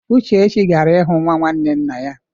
Uchechi gara ịhụ nwa nwanne nna ya.